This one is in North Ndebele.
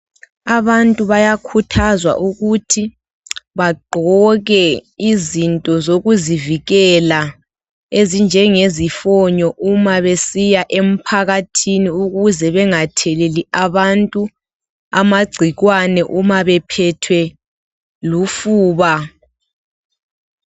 Abantu bayakhuthazwa ukuthi bagqoke izinto sokuzivikela ezinjengezifonyo uma besiya emphakathini ukuze bengatheleli abantu umagcikwane uma bephethwe lufuba